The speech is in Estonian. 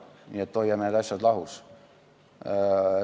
Nii et hoiame need asjad lahus.